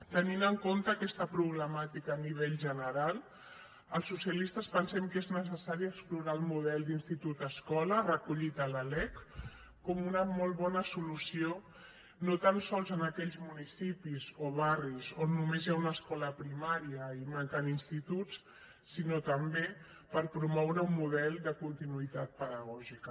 tenint en compte aquesta problemàtica a nivell general els socialistes pensem que és necessari explorar el model d’institut escola recollit a la lec com una molt bona solució no tan sols en aquells municipis o barris on només hi ha una escola primària i hi manquen instituts sinó també per promoure un model de continuïtat pedagògica